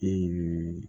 E y'i